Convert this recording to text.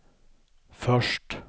först